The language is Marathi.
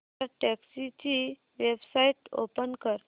भारतटॅक्सी ची वेबसाइट ओपन कर